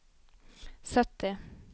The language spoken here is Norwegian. sytti